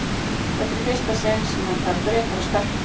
Þetta er í fyrsta sinn sem hann fær bréf frá stelpu.